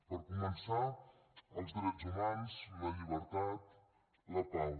per començar els drets humans la llibertat la pau